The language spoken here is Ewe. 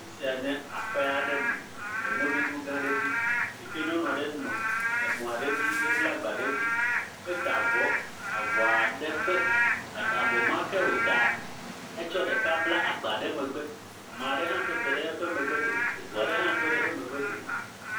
afisia nye aƒe aɖe me le mɔdodo gã aɖe dzi sike nyɔnua ɖe nɔ emɔ ɖe dzi he bla gba ɖe dzi eta vɔ avɔaɖe ƒe avɔmake wo taa etsɔ ɖeka bla agba ɖe megbe ameaɖe hã tɔte ɖe eƒe megbe dome eʋuaɖe hã tɔɖe eƒe megbe dome